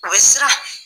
A bɛ siran